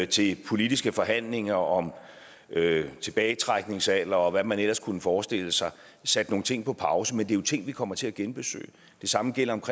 til politiske forhandlinger om tilbagetrækningsalder og hvad man ellers kunne forestille sig sat nogle ting på pause men det er jo ting vi kommer til at genbesøge det samme gælder